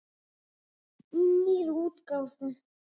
Í nýrri útgáfu!